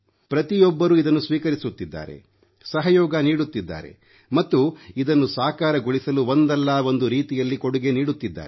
ಪ್ರತಿಯೊಬ್ಬರೂ ಇದನ್ನು ಸ್ವೀಕರಿಸುತ್ತಿದ್ದಾರೆ ಸಹಯೋಗ ನೀಡುತ್ತಿದ್ದಾರೆ ಮತ್ತು ಇದನ್ನು ಸಾಕಾರಗೊಳಿಸಲು ಒಂದಲ್ಲಾ ಒಂದು ರೀತಿಯಲ್ಲಿ ಕೊಡುಗೆ ನೀಡುತ್ತಿದ್ದಾರೆ